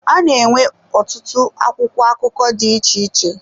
A na-enwe ọtụtụ akwụkwọ akụkọ dị iche iche.